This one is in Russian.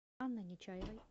анной нечаевой